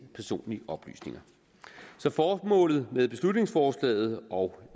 personlige oplysninger så formålet med beslutningsforslaget og